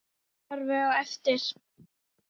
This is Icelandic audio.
Horfir á eftir